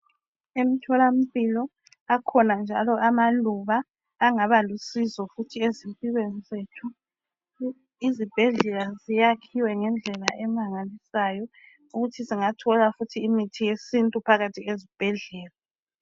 Emthola mpilo akhona amaluba angaba lusizo empilweni zethu izibhedlela zakhiwe ngendlela emangalisayo ukuthi singathola imithi yesintu phakathi ezibhedlela